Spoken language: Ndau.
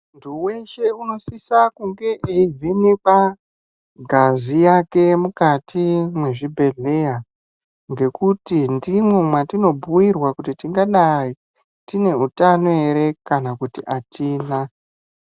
Ntu weshe unosisa kunge eivhenekwa ngazi yake mukati mwezvibhedhleya ngekuti ndimwo mwatinobhuirwa kuti tingadai tine utanonere kana kuti atina.